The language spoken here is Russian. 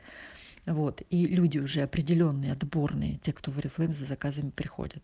вот и люди уже определённые отборные те кто в орифлей за заказами приходят